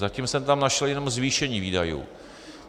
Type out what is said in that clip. Zatím jsem tam našel jenom zvýšení výdajů.